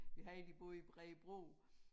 Vi havde 1 der boede i Bredebro